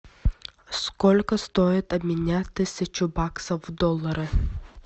сколько стоит обменять тысячу баксов в доллары